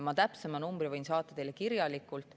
Ma täpsema numbri võin saata teile kirjalikult.